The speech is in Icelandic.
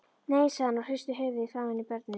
Nei, sagði hann og hristi höfuðið framan í börnin.